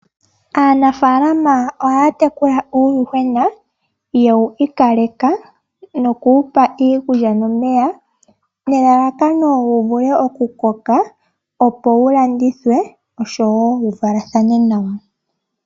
Uundjuhwena ohawu pewa iikulya no meya opo wu vule wu koke woo wu landithwepo ngele wa koko nawa opo ku monike oshimaliwa.